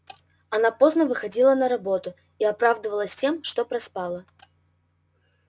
она поздно выходила на работу и оправдывалась тем что проспала